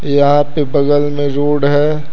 यहां पे बगल में रोड है।